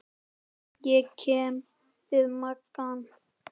Ég kem við magann.